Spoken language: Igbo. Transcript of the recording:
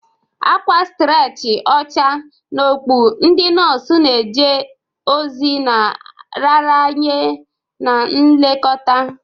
Akwa starchi ọcha na okpu, ndị nọọsụ na-eje ozi na nraranye na nlekọta.